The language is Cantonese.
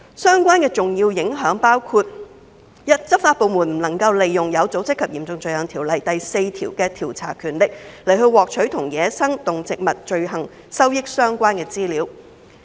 相關的重要影響包括：第一，執法部門不能利用《有組織及嚴重罪行條例》第4條的調查權力，來獲取與走私野生動植物罪行收益相關的資料。